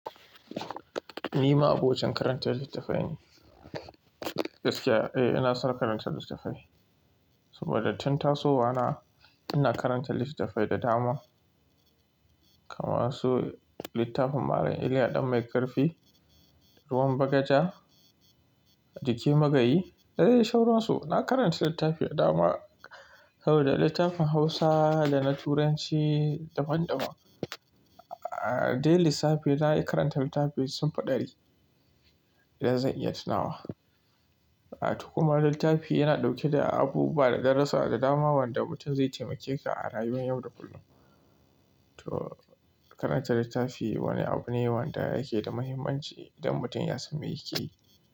Ni ma abokin karanta littafai ne. Gaskiya, eh, ina son karanta littafai. Saboda tun tasowa na ina karanta littafai da dama. Kamasu littafin Malam Iliya ɗan Maikafi, Ruwan Bagaja, Jiki Magayi, da dai shaura su. Na karanta littafi da dama, kawai da littafin Hausa da na Turanci daban-daban. A dai lissafi na yi karanta littafi sun fi ɗari idan zan iya tunawa. A tukuna littafi yana ɗauke da abu bada darasa da dama wanda mutum zai taimake ka a rayuwar yau da kullum. To karanta littafi wani abu ne wanda yake da mahimmanci idan mutum ya samu yake.